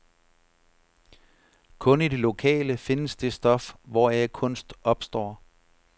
Kun i det lokale findes det stof, hvoraf kunst opstår.